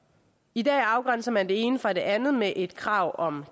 i dag afgrænser man det ene fra det andet med et krav om